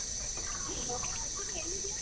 Hello Nandini ಎಲ್ಲಿದೀಯ?